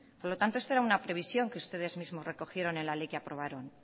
por lo tanto esta era una previsión que ustedes mismos recogieron en la ley que aprobaron